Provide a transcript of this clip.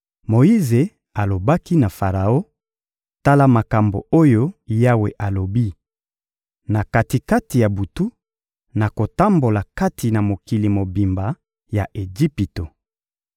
Moyize alobaki na Faraon: «Tala makambo oyo Yawe alobi: ‹Na kati-kati ya butu, nakotambola kati na mokili mobimba ya Ejipito.